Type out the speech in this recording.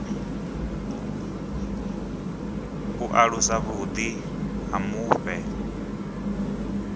u alusa vhuḓi ha mufhe